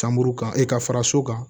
Sanbu kan i ka fara so kan